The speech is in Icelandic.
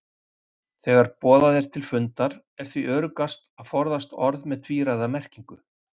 Þegar boðað er til fundar er því öruggast að forðast orð með tvíræða merkingu.